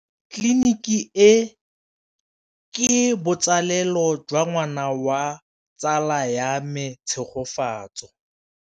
Tleliniki e, ke botsalêlô jwa ngwana wa tsala ya me Tshegofatso.